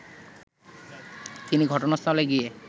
তিনি ঘটনাস্থলে গিয়ে